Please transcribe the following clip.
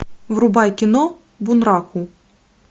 врубай кино бунраку